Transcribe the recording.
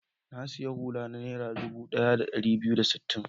Na sayi hula ta Naira dubu ɗaya da ɗari biyu da sittin.